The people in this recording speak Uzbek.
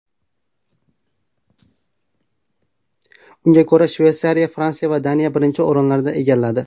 Unga ko‘ra, Shveysariya, Fransiya va Daniya birinchi o‘rinlarni egalladi.